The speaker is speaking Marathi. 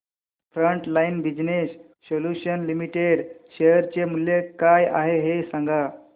frontline business solutions limited share चे मूल्य काय आहे हे सांगा